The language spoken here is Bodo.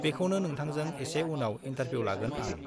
बेखौनो नोंथांजों एसे उनाव इन्टारभिउ लागोन आं ।